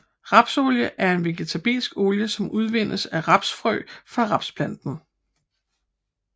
Rapsolie er en vegetabilsk olie som udvindes af rapsfrø fra rapsplanten